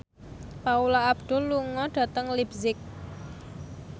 Paula Abdul lunga dhateng leipzig